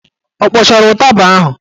Ọ kpọchara ụtaba ahụ?